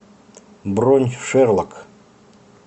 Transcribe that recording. бронь шерлок